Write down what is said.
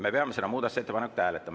Me peame seda muudatusettepanekut hääletama.